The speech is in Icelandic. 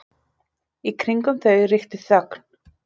Í kringum þau ríkti þögn.